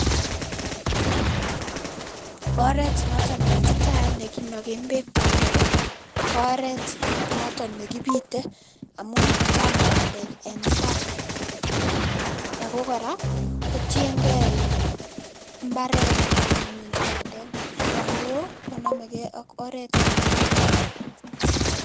Oret notok neititaat nekinoken beek bandek ko oret notok nekipite amun chang bandek en mbar, ako kora kotiengee iin mbaret nekikiminji bandek yon woo konomeke ak oret nekipite.